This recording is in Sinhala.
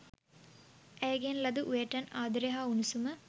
ඇයගෙන් ලද උවටැන් ආදරය හා උණුසුම